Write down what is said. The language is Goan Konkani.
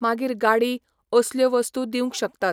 मागीर गाडी, असल्यो वस्तू दिवं शकतात.